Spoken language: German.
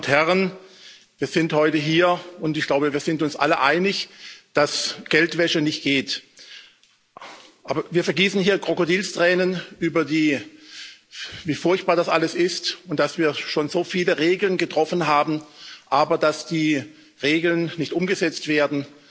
Frau Präsidentin, meine Damen und Herren! Wir sind heute hier, und ich glaube, wir sind uns alle einig, dass Geldwäsche nicht geht. Aber wir vergießen hier Krokodilstränen darüber, wie furchtbar das alles ist und dass wir schon so viele Regeln getroffen haben, aber dass die Regeln nicht umgesetzt werden.